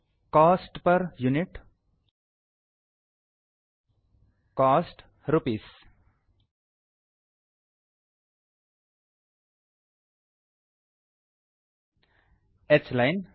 coast per unit cost rupees h line